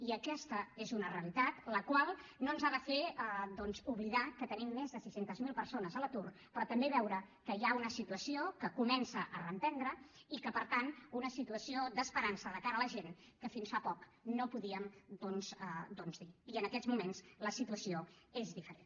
i aquesta és una realitat la qual no ens ha de fer oblidar que tenim més de sis cents miler persones a l’atur però també veure que hi ha una situació que comença a reprendre i per tant una situació d’esperança de cara a la gent que fins fa poc no podíem dir i en aquests moments la situació és diferent